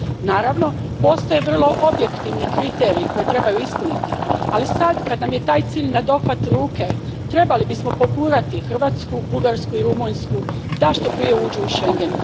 Naravno, postoje vrlo objektivni kriteriji koje trebaju ispuniti, ali sad kad nam je taj cilj nadohvat ruke trebali bismo pogurati Hrvatsku, Bugarsku i Rumunjsku da što prije uđu u Schengen.